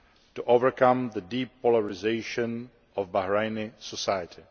to overcome the deep polarisation of Bahraini society.